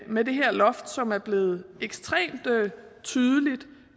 med det her loft som er blevet ekstremt tydelige